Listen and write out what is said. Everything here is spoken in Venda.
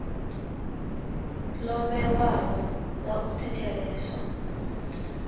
ḓo vhewaho ḽa u thetsheleswa